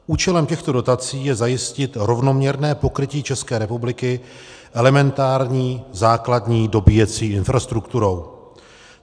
Účelem těchto dotací je zajistit rovnoměrné pokrytí České republiky elementární základní dobíjecí infrastrukturou.